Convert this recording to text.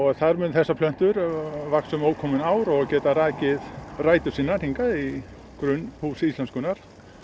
þar munu þessar plöntur vaxa um ókomin ár og geta rakið rætur sínar hingað í grunn Húss íslenskunnar